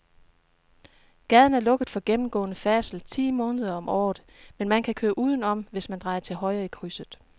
Gaden er lukket for gennemgående færdsel ti måneder om året, men man kan køre udenom, hvis man drejer til højre i krydset.